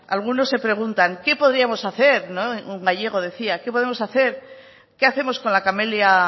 algunos se preguntan qué podríamos hacer un gallego decía qué podemos hacer qué hacemos con la camelia